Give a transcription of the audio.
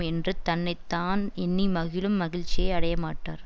என்றுத் தன்னை தான் எண்ணி மகிழும் மகிழ்ச்சியை அடையமாட்டார்